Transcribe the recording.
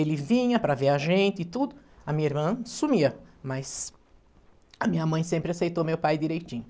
Ele vinha para ver a gente e tudo, a minha irmã sumia, mas a minha mãe sempre aceitou meu pai direitinho.